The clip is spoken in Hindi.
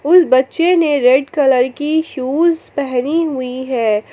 उस बच्चे ने रेड कलर की शूज पहनी हुई है।